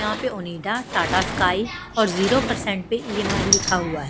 यहां पे ओनिडा टाटा स्काई और जीरो परसेंट पे ई_एम_आई लिखा हुआ है।